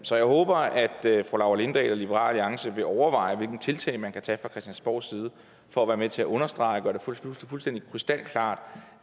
så jeg håber at fru laura lindahl og liberal alliance vil overveje hvilke tiltag man kan tage fra christiansborgs side for at være med til at understrege og gøre det fuldstændig krystalklart